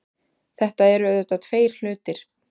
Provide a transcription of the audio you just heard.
Þetta eru auðvitað tveir hlutir